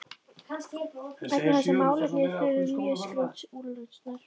vegna þess að málefni þurfti mjög skjótrar úrlausnar.